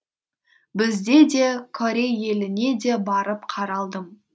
бізде де корей еліне де барып қаралдым